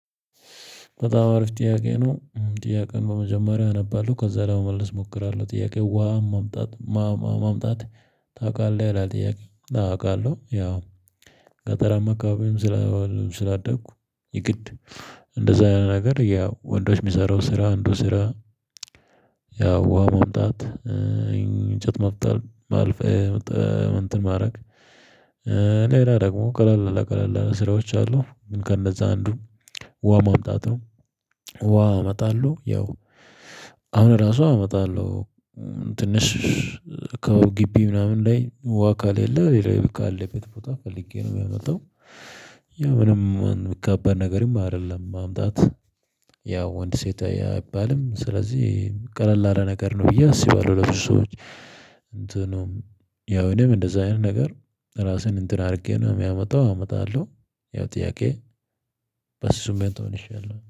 በጣም አሪፍ ጥያቄ ነው። ጥያቄውን በመጀመሪያ አነባለሁ ከዛ ለመመለስ እሞክራለሁ ጥያቄው ውሃ ማምጣት ማምጣት ታውቃለህ? ይላል ጥያቄው አወ አውቃለሁ። ያው ገጠራም አካባቢም። ስላደኩ የግድ እንደዛ ያለ ነገር ያው ወንዶች የሚሰራው ስራ እንደው ስራ። ያው ውሃ ማምጣት እንጨት መጥፈል። እንትን ማረግ። ሌላ ደግሞ ቀለል ቀለል ያለ ስራዎች አሉ። ግን ከነዛ አንዱ ውሃ ማምጣት ነው። ውሃ እመጣለሁ ያው አሁን ራሱ አመጣለሁ። ትንሽ ከው ግቢ ምናምን ላይ ውሃ ካሌለ ሌላ ካለበት ቦታ ፈልጌ ነው የማመጣው። ያ ምንም ከባድ ነገርም አይደለም። ማምጣት ያው ወንድ ሴት አይባልም ስለዚህ ቀለል አለ ነገር ነው ብዬ አስባለሁ። ለሱ ሰዎች እንትኑም ያው እኔም እንደዛ አይነት ነገር ራስህን እንትን አድርጌ ነው የሚያመጣው አመጣለሁ። ያው ጥያቄ በስሱም ቤት መልሻለሁ